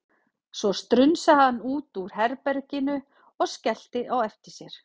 Svo strunsaði hann út úr herbeginu og skellti á eftir sér.